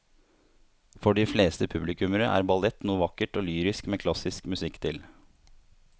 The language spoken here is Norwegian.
For de fleste publikummere er ballett noe vakkert og lyrisk med klassisk musikk til.